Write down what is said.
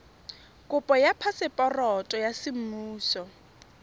kopo ya phaseporoto ya semmuso